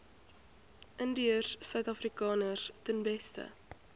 indiërsuidafrikaners ten beste